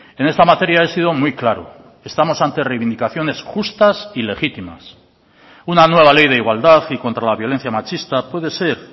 en esta materia he sido muy claro estamos ante reivindicaciones justas y legítimas una nueva ley de igualdad y contra la violencia machista puede ser